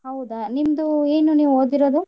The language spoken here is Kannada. ಹೌದಾ ನಿಮ್ದು ಏನು ನೀವ್ ಓದಿರೋದು?